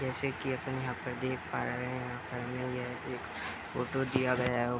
जैसे की अपन यहाँ पर देख पा रहे है यहाँ पर एक फोटो दिया गया है ।